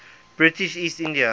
british east india